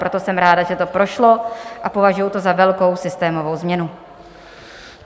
Proto jsem ráda, že to prošlo, a považuji to za velkou systémovou změnu.